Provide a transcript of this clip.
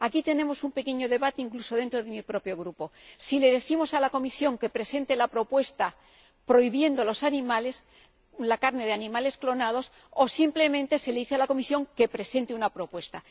Aquí tenemos un pequeño debate, incluso dentro de mi propio grupo si le decimos a la Comisión que presente una propuesta que prohíba la carne de animales clonados, o simplemente se le dice a la Comisión que presente una propuesta.